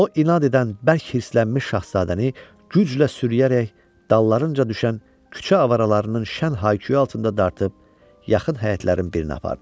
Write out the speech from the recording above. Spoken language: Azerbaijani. O inad edən bərk hirslənmiş şahzadəni güclə sürüyərək dallarınca düşən küçə avaralarının şən hay-küyü altında dartıb yaxın həyətlərin birini apardı.